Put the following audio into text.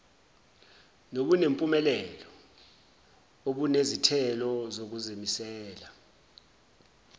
nobunempumelelo obunezithelo zokuzimisela